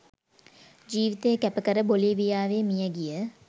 ජීවිතය කැපකර බොලීවියාවේ මියගිය